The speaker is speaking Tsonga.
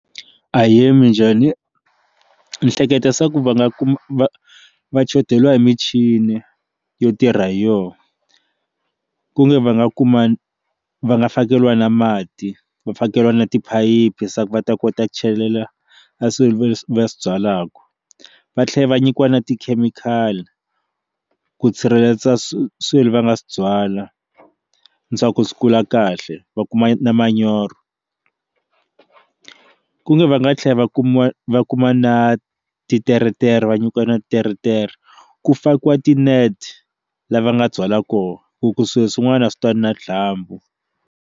Ahee minjhani ni hleketa swa ku va nga kumi va va shoteriwa hi michini yo tirha hi yona ku nga va nga kuma va nga fakeriwa na mati va fakeriwa na tiphayiphi se va ta kota ku chelela a swilo leswi va swi byalaka va tlhela va nyikiwa na tikhemikhali ku tshireledza swi swilo va nga swi byala ni swa ku swi kula kahle va kuma na manyoro ku nga va nga tlhela va kuma va kuma na titeretera va nyikiwa na teretere ku fakiwa ti net lava nga byala kona ku swilo swin'wana a swi twani na dyambu.